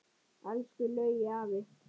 Elsku Laugi afi.